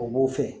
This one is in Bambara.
O b'o fɛ